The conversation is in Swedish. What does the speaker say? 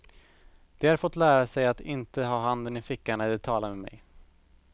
De har fått lära sig att inte ha handen i fickan när de talar med mig.